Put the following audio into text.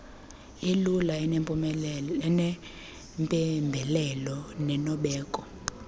elula enempembelelo nenobeko